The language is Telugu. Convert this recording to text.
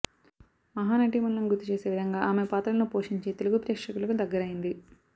మహానటిమణులను గుర్తు చేసే విధంగా ఆమె పాత్రలను పోషించి తెలుగు ప్రేక్షకులకు దగ్గరైంది